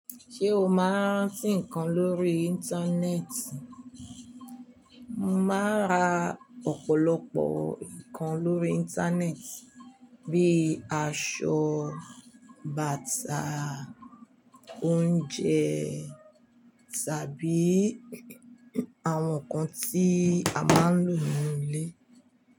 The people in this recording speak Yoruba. Ṣé o máa ń rántí nǹkan lórí Íńtánẹ́ẹ̀tì? Mo máa ń ra ọ̀pọ̀lọpọ̀ nǹkan lórí Íńtánẹ́ẹ̀tì bíi aṣọ, bàtà, oúnjẹ tàbí àwọn nǹkan tí a máa ń lò ní ilé.